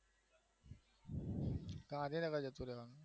ગાંધીનગર જતું રેવાનું